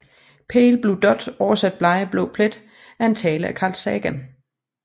Pale Blue Dot oversat blege blå plet er en tale af Carl Sagan